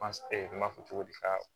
n m'a fɔ cogo di ka